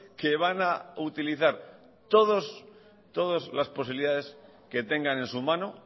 que van a utilizar todas las posibilidades que tengan en su mano